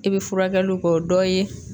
I be furakɛliw kɛ o dɔ ye